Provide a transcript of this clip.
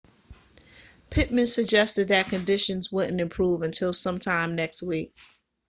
pittman suggested that conditions wouldn't improve until sometime next week